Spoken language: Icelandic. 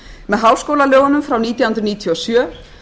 með háskólalögunum frá nítján hundruð níutíu og sjö